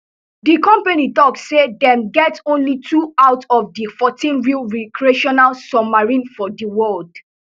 di company tok say dem get only two out of di fourteen real recreational submarines for di world